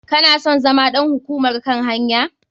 Kana son zama ɗan hukumar kan hanya?